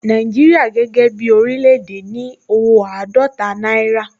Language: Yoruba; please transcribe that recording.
Nàìjíríà gẹ́gẹ́ bí oríléèdè ní owó àádọ́ta náírà